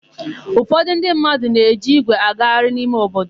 Ụfọdụ ndị mmadụ ne-eji ígwè agagharị n'ime obodo.